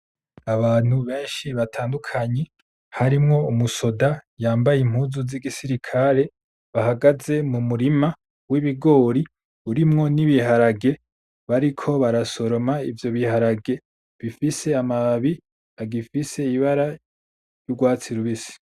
Abantu beshi batandukanye harimwo umusoda yambaye impuzu z'igisirikare ahagaze mu murima w'ibigori urimwo n'ibiharage bariko barasoroma ivyo biharage bifise amababi agifise ibara ry'urwatsi rubisi.